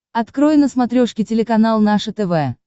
открой на смотрешке телеканал наше тв